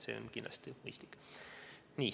See on kindlasti mõistlik.